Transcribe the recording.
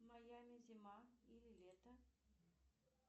в майами зима или лето